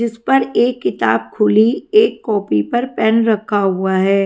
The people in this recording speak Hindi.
जिस पर एक किताब खुली एक कॉपी पर पेन रखा हुआ है।